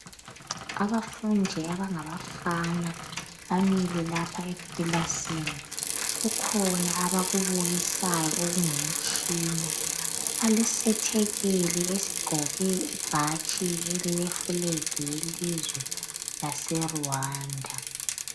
Abafundi abangabafana bamile lapha ekilasini. Kukhona abakubukisayo okungumtshina. Balesethekeli esigqoke ibhatshi elile flag yelizwe lase Rwanda.